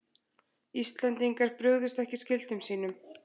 Íslendingar brugðust ekki skyldum sínum